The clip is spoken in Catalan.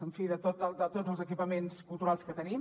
en fi de tots els equipaments culturals que tenim